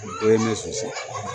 O ye ne zonzan